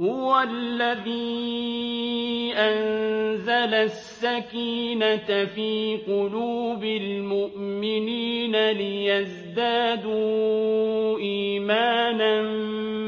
هُوَ الَّذِي أَنزَلَ السَّكِينَةَ فِي قُلُوبِ الْمُؤْمِنِينَ لِيَزْدَادُوا إِيمَانًا